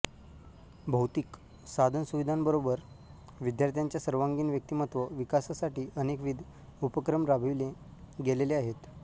भौतिक साधनसुविधांबरोबर विद्यार्थ्यांच्या सर्वांगीण व्यक्तिमत्त्व विकासासाठी अनेकविध उपक्रम राबवले गेलेले आहेत